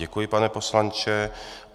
Děkuji, pane poslanče.